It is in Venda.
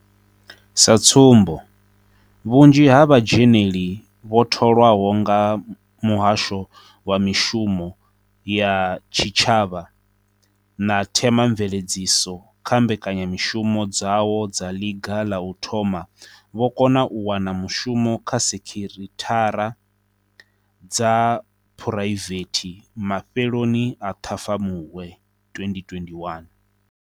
Sa tsumbo, vhunzhi ha vhadzheneli vho tholwa ho nga Muhasho wa Mishumo ya Tshitshavha na Themamveledziso kha mbe -kanyamushumo dzawo dza ḽiga ḽa u thoma vho kona u wana mushumo kha sekhithara dza phuraivethe mafheloni a Ṱhafamuhwe 2021.